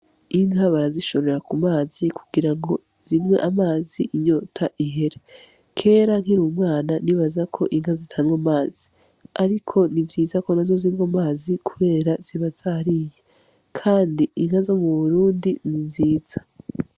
Inka barazishorera kumazi kugira ngo zinywe amazi inyota ihere. Kera nkiri umwana nibaza ko inka zitanywa amazi, ariko ni vyiza ko nazo zinywa amazi kubera ziba zariye. Kandi inka zo muburundi ni nziza.